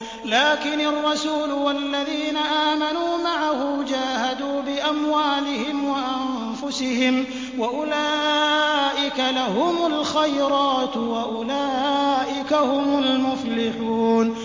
لَٰكِنِ الرَّسُولُ وَالَّذِينَ آمَنُوا مَعَهُ جَاهَدُوا بِأَمْوَالِهِمْ وَأَنفُسِهِمْ ۚ وَأُولَٰئِكَ لَهُمُ الْخَيْرَاتُ ۖ وَأُولَٰئِكَ هُمُ الْمُفْلِحُونَ